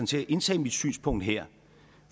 til at indtage mit synspunkt her